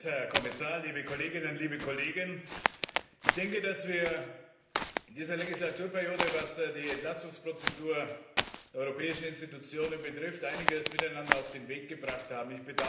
Herr Präsident, Herr Kommissar, liebe Kolleginnen, liebe Kollegen! Ich denke, dass wir in dieser Legislaturperiode, was die Entlastungsprozedur der europäischen Institutionen betrifft, einiges miteinander auf den Weg gebracht haben.